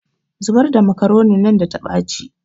Zubar da makaronin da ta ɓaci